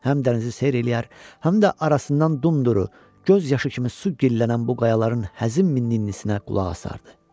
Həm dənizi seyr eləyər, həm də arasından dumduru, göz yaşı kimi su gillənən bu qayaların həzin minninisinə qulaq asardı.